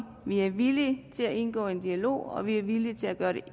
vi er villige til at indgå i en dialog og vi er villige til at gøre det